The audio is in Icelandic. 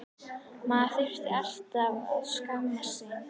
Maður þurfti alltaf að skammast sín.